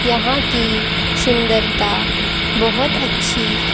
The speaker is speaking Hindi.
यहां की सुंदरता बहोत अच्छी--